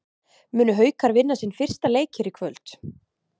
Munu Haukar vinna sinn fyrsta leik hér í kvöld?